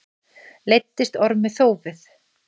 Leiddist Ormi þófið.